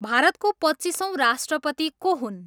भारतको पच्चिसऔँ राष्ट्रपती को हुन्?